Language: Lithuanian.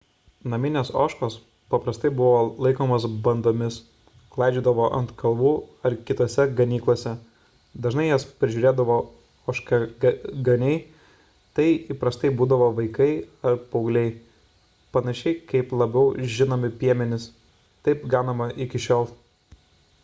naminės ožkos paprastai buvo laikomos bandomis klaidžiodavo ant kalvų ar kitose ganyklose dažnai jas prižiūrėdavo ožkaganiai tai įprastai būdavo vaikai ar paaugliai panašiai kaip labiau žinomi piemenys taip ganoma iki šiol